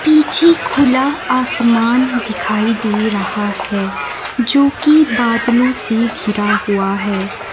पीछे खुला आसमान दिखाई दे रहा है जोकि बादलों से घिरा हुआ है।